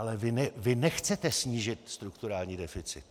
Ale vy nechcete snížit strukturální deficit.